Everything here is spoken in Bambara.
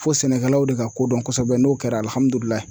Fo sɛnɛkɛlaw de ka ko dɔn kɔsɛbɛ n'o kɛra